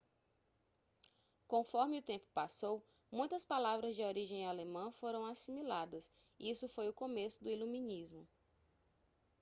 conforme o tempo passou muitas palavras de origem alemã foram assimiladas isso foi o começo do iluminismo